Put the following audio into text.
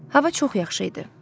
Hava çox yaxşı idi.